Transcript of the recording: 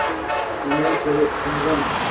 તેમણે થોડી સમજણ